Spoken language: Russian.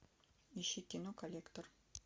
ищи кино коллектор